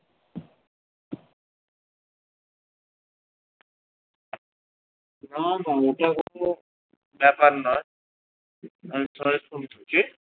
দেখার নয়